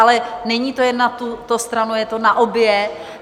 Ale není to jen na tuto stranu, je to na obě.